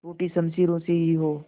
टूटी शमशीरों से ही हो